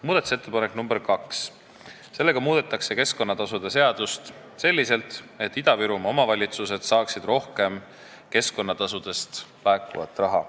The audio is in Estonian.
Muudatusettepanekuga nr 2 muudetakse keskkonnatasude seadust selliselt, et Ida-Virumaa omavalitsused saaksid rohkem keskkonnatasudest laekuvat raha.